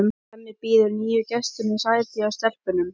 Hemmi býður nýju gestunum sæti hjá stelpunum.